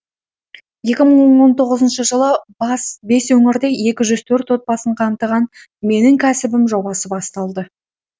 екі мың он тоғызыншы жылы бес өңірде екі жүз төрт отбасын қамтыған менің кәсібім жобасы басталды